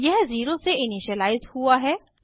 यह 0 से इनिशिअलाइज़ हुआ है